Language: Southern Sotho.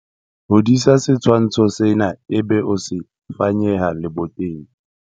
Hodisa setshwantsho sena ebe o se fanyeha leboteng.